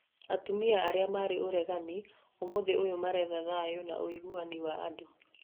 Atumia arĩa marĩ a ũregani ũmũthĩ ũyũ maretha thayũ na ũigananu wa andũ.